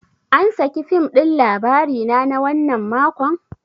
An saki fim da Labarina na wannan makon?